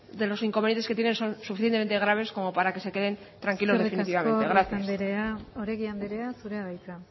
de los inconvenientes que tienen son suficientemente graves como para que se queden tranquilos definitivamente gracias eskerrik asko ruiz andrea oregi andrea zurea da hitza